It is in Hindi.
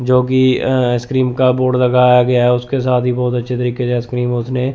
जोकि अं आइसक्रीम का बोर्ड लगाया गया है उसके साथ ही बहुत अच्छे तरीके से आइसक्रीम उसने--